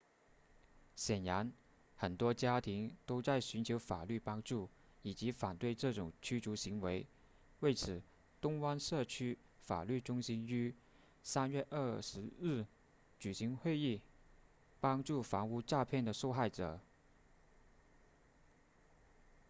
显然很多家庭都在寻求法律帮助以反对这种驱逐行为为此东湾社区法律中心于3月20日举行会议帮助房屋诈骗的受害者